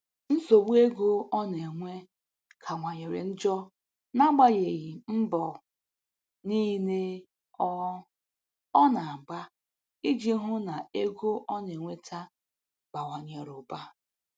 Nsogbu ego ọ na-enwe kawanyere njọ n'agbanyeghị mbọ niile ọ ọ na-agba iji hụ na ego ọ na-enweta bawanyere ụba.